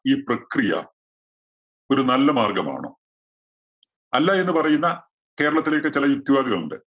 ഈ പ്രക്രിയ ഒരു നല്ല മാർഗ്ഗമാണോ? അല്ല എന്ന് പറയുന്ന കേരളത്തിലെ ഒക്കെ ചില യുക്തിവാദികൾ ഉണ്ട്.